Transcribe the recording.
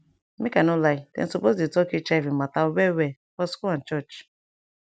make i no lie dem suppose dey talk hiv mata well well for school and church